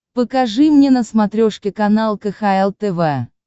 покажи мне на смотрешке канал кхл тв